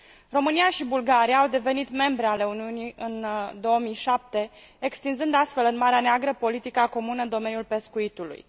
România și Bulgaria au devenit membre ale Uniunii în 2007, extinzând, astfel, în Marea Neagră politica comună în domeniul pescuitului.